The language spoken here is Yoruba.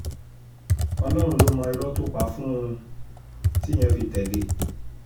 ọlọ́run ló mọ irọ́ tó pa fún un tíyẹn fi tẹ̀lé e